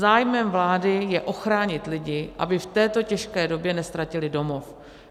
Zájmem vlády je ochránit lidi, aby v této těžké době neztratili domov.